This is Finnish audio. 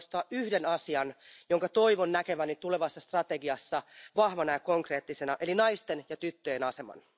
Haluan nostaa esille yhden asian, jonka toivon näkeväni tulevassa strategiassa vahvana ja konkreettisena, eli naisten ja tyttöjen aseman.